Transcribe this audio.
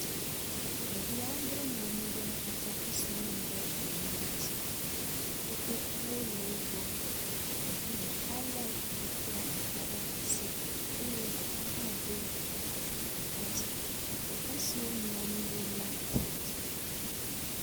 Ɖevi andre nɔ anyi ɖe atrakpui si womu ɖe gli nu la dzi. Kotokuwo le wo gbɔ. Ɖevi ɖeka le kotokua ɖe asi eye ɖeka hã ɖo afɔ ɖeka dzi. teƒe si wonɔ anyi ɖo la ƒoɖi.